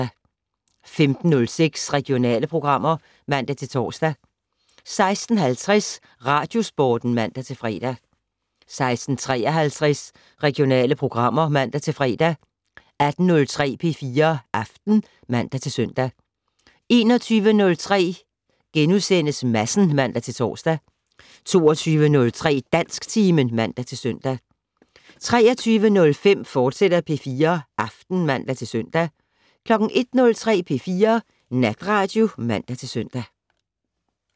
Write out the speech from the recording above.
15:06: Regionale programmer (man-tor) 16:50: Radiosporten (man-fre) 16:53: Regionale programmer (man-fre) 18:03: P4 Aften (man-søn) 21:03: Madsen *(man-tor) 22:03: Dansktimen (man-søn) 23:05: P4 Aften, fortsat (man-søn) 01:03: P4 Natradio (man-søn)